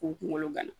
K'u kunkolo gana